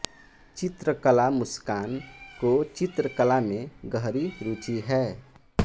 चित्रकला मुस्कान को चित्रकला में गहरी रूचि है